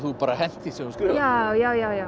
bara hent því sem þú skrifaðir já